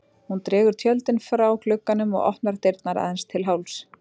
Hún dregur tjöldin frá glugganum og opnar dyrnar aðeins til hálfs.